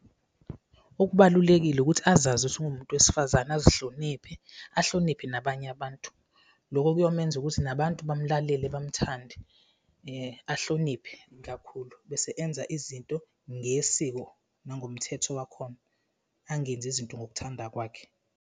Okubalulekile ukuthi azazi ukuthi ungumuntu wesifazane, azihloniphe, ahloniphe nabanye abantu. Loko kuyomenza ukuthi nabantu bamlalele, bamthande , ahloniphe kakhulu bese enza izinto ngesiko nangomthetho wakhona, angenzi izinto ngokuthanda kwakhe.